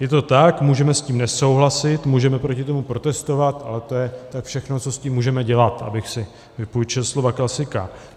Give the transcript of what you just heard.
Je to tak, můžeme s tím nesouhlasit, můžeme proti tomu protestovat, ale to je tak všechno, co s tím můžeme dělat, abych si vypůjčil slova klasika.